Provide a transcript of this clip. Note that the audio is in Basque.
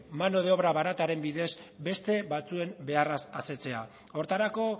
mano de obra barataren bidez beste batzuen beharraz asetzea horretarako